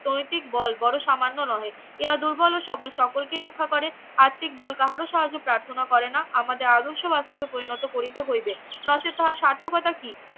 নৈতিক বল বড়ো সামান্য নহে ইহা দূর্বল ও সবল সকলকেই রক্ষা করে আর্থিক বল কাহার ও সাহায্য প্রার্থনা করে না আমাদের আদর্শবার্তাকে পরিণত করিতে হইবে নচেৎ তাহার সার্থকতা কি